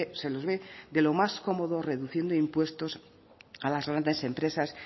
se los ve de lo más cómodo reduciendo impuestos a las grandes empresas